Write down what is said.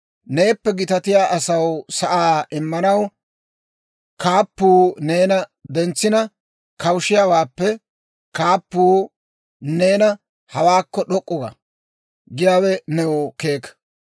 Neeppe gitatiyaa asaw sa'aa immanaw kaappuu neena dentsina kawushiyaawaappe, kaappuu neena, «Hawaakko d'ok'k'u ga» giyaawe new keeka.